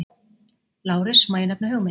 LÁRUS: Má ég nefna hugmynd?